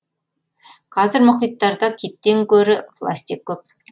қазір мұхиттарда киттен гөрі пластик көп